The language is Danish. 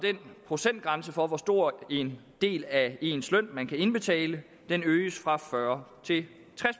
procentgrænsen for hvor stor en del af ens løn man kan indbetale øges fra fyrre